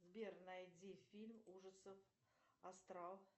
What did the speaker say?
сбер найди фильм ужасов астрал